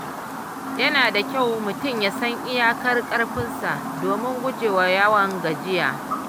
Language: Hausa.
Yana da kyau mutum ya san iyakar ƙarfinsa domin gujewa yawan gajiya.